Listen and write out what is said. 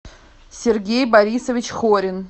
сергей борисович хорин